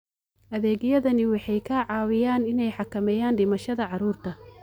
Adeegyadani waxay ka caawiyaan inay xakameeyaan dhimashada carruurta.